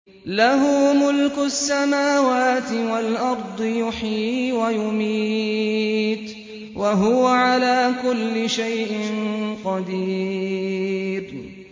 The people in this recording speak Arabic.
لَهُ مُلْكُ السَّمَاوَاتِ وَالْأَرْضِ ۖ يُحْيِي وَيُمِيتُ ۖ وَهُوَ عَلَىٰ كُلِّ شَيْءٍ قَدِيرٌ